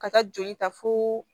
Ka taa joli ta fo